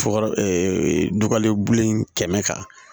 Fo ka dɔgɔlen bu in kɛmɛ kan